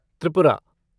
Tripura